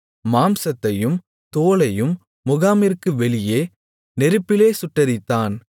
மாம்சத்தையும் தோலையும் முகாமிற்கு வெளியே நெருப்பிலே சுட்டெரித்தான்